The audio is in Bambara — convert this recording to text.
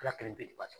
Ala kelen bɛ